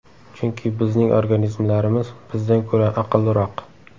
Chunki bizning organizmlarimiz bizdan ko‘ra aqlliroq.